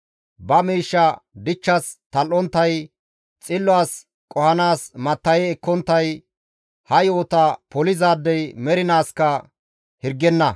ba miishsha dichchas tal7onttay, xillo as qohanaas matta7e ekkonttay, Ha yo7ota polizaadey mernaaskka hirgenna.